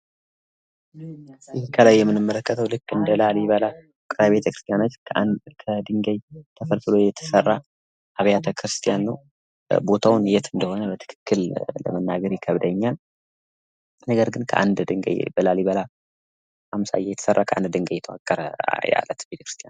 ይህ ከላይ የምንመለከተው ልክ እንደላሊበላ ከድንጋይ የተሰራ ቤተክርስቲያን ነው :ግን ቦታው የተ እንደሆነ በትክክል መናገር ይከብደኛል ግን ከአንድ ድንጋይ ተፈልፎሎ የተሰራ ቤተክርስቲያን ነው ::